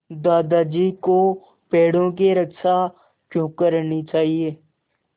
दादाजी को पेड़ों की रक्षा क्यों करनी चाहिए